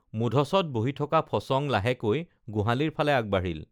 মূধচত বহি থকা ফচং লাহেকৈ গোহালিৰ ফালে আগবাঢ়িল